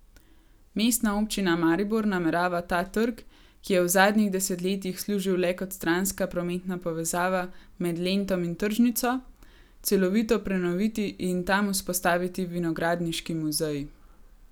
Mestna občina Maribor namerava ta trg, ki je v zadnjih desetletjih služil le kot stranska prometna povezava med Lentom in tržnico, celovito prenoviti in tam vzpostaviti vinogradniški muzej.